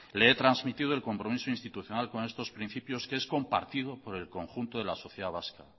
le he trasmitido el compromiso institucional con estos principios que es compartido por el conjunto de la sociedad vasca